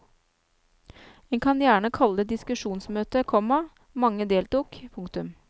En kan gjerne kalle det diskusjonsmøte, komma mange deltok. punktum